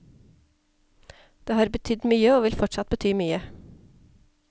Det har betydd mye og vil fortsatt bety mye.